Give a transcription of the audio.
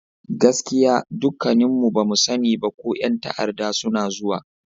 Gaskiya! dukkanmu ba mu sani ba ko yan ta'arda suna zuwa.